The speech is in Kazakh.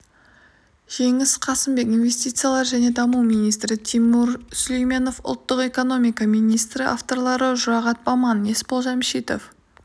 жеңіс қасымбек инвестициялар және даму министрі тимур сүлейменов ұлттық экономика министрі авторлары жұрағат баман есбол жәмшитов